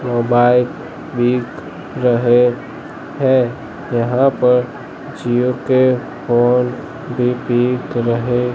mobile बिक रहे है यहां पर जिओ के फोन भी बिक रहे--